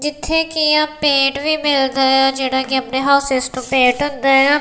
ਜਿੱਥੇ ਕਿ ਆ ਪੇਂਟ ਆ ਵੀ ਮਿਲਦੇ ਆ ਜਿਹੜਾ ਕਿ ਆਪਣੇ ਹਾਊਸਿਜ ਨੂੰ ਪੇਂਟ ਹੁੰਦਾ ਆ।